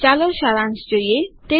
ચાલો સારાંશ જોઈએ